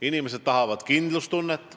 Inimesed tahavad kindlustunnet.